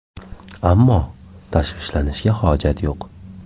Ammo tashvishlanishga hojat yo‘q.